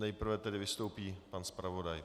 Nejprve tedy vystoupí pan zpravodaj.